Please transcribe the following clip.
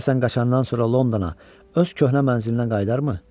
Görəsən qaçandan sonra Londona öz köhnə mənzilinə qayıdarmı?